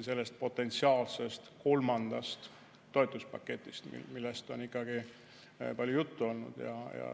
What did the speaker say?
sellest potentsiaalsest kolmandast toetuspaketist, millest on palju juttu olnud.